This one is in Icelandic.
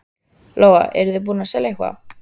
Lóa: Eruð þið búnir að selja eitthvað?